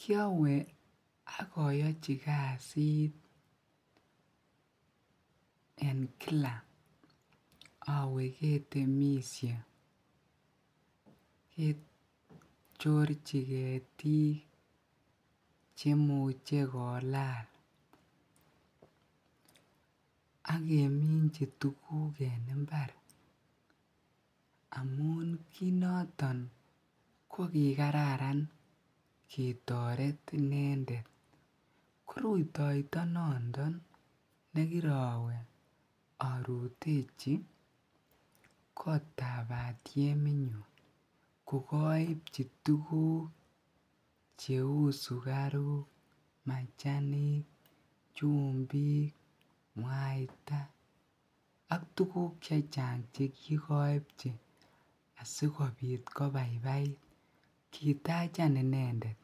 kyowe agoyochi kasiit en kila owee ketemisye kechorchi ketiik chemuche kolaal ak keminchi tuguk en imbaar amun kiit noton kogigararan ketoret inendet, rutoito nondon negirowe orutechi kotaab batyemit nuun kogoibchi tuguk cheuu sugaruuk, machaniik, chumbiik,, mwaita ak tuguk chechang chegigoibchi asigobaibait kitachan inendet.